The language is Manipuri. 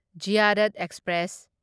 ꯓꯤꯌꯥꯔꯠ ꯑꯦꯛꯁꯄ꯭ꯔꯦꯁ